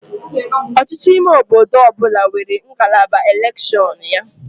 Ọchịchị ime obodo ọ bụla nwere ngalaba elekshọnụ ya